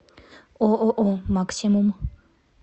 ооо максимум